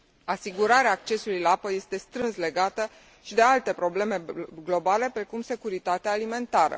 Asigurarea accesului la apă este strâns legată și de alte probleme globale, precum securitatea alimentară.